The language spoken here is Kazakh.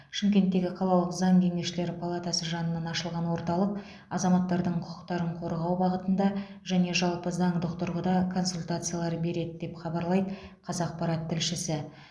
шымкенттегі қалалық заң кеңесшілері палатасы жанынан ашылған орталық азаматтардың құқықтарын қорғау бағытында және жалпы заңдық тұрғыда консультациялар береді деп хабарлайды қазақпарат тілшісі